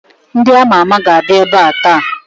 Ndị ama ama ga-abịa ebe a taa